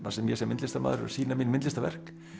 þar sem ég sem myndlistarmaður er að sýna mín myndlistarverk